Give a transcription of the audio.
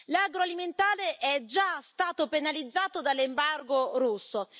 L'agroalimentare è già stato penalizzato dall'embargo russo.